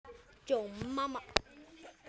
Nú ertu fallinn frá.